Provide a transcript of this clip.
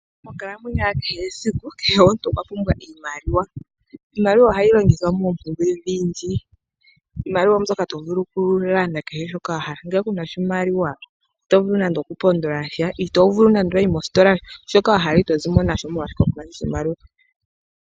Monkalamwenyo ya kehe esiku, kehe omuntu okwa pumbwa iimaliwa. Iimaliwa ohayi longithwa moompumbwe odhindji. Iimaliwa oombyoka tovulu okulongitha okulanda kehe shoka wahala. Ngele kuna oshimaliwa ito vulu nande okupondolasha, nongele owayi mostola, shoka wahala ito vulu okushilanda oshoka kunasha oshimaliwa.